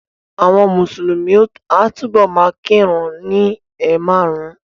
Àwọn Mùsùlùmí a túbọ̀ ma kírun ni ẹ̀ márùn-ún